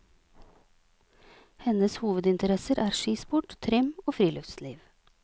Hennes hovedinteresser er skisport, trim og friluftsliv.